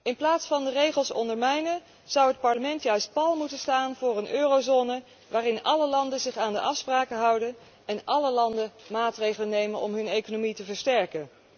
In plaats van de regels ondermijnen, zou het Parlement juist pal moeten staan voor een eurozone waarin alle landen zich aan de afspraken houden en alle landen maatregelen nemen om hun economie te versterken.